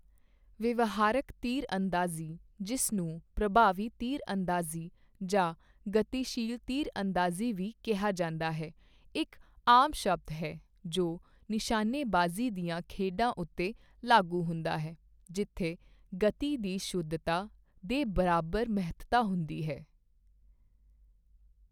ਵਿਵਹਾਰਕ ਤੀਰਅੰਦਾਜ਼ੀ, ਜਿਸ ਨੂੰ ਪ੍ਰਭਾਵੀ ਤੀਰਅੰਦਾਜ਼ੀ ਜਾਂ ਗਤੀਸ਼ੀਲ ਤੀਰਅੰਦਾਜ਼ੀ ਵੀ ਕਿਹਾ ਜਾਂਦਾ ਹੈ, ਇੱਕ ਆਮ ਸ਼ਬਦ ਹੈ ਜੋ ਨਿਸ਼ਾਨੇਬਾਜ਼ੀ ਦੀਆਂ ਖੇਡਾਂ ਉੱਤੇ ਲਾਗੂ ਹੁੰਦਾ ਹੈ ਜਿੱਥੇ ਗਤੀ ਦੀ ਸ਼ੁੱਧਤਾ ਦੇ ਬਰਾਬਰ ਮਹੱਤਤਾ ਹੁੰਦੀ ਹੈ।